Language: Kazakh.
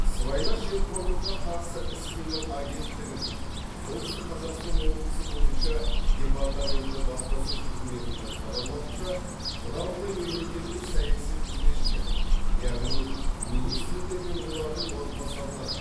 сыбайлас жемқорлыққа қарсы іс қимыл агенттігінің солтүстік қазақстан облысы бойынша департаменті баспасөз қызметінің хабарлауынша бұдан былай мемлекеттік саяси қызметшілер яғни министрлер мен олардың орынбасарлары